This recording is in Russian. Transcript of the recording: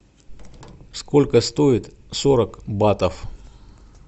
сколько стоит сорок батов